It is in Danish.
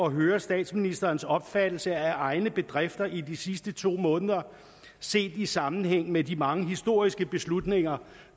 at høre statsministerens opfattelse af egne bedrifter i de sidste to måneder set i sammenhæng med de mange historiske beslutninger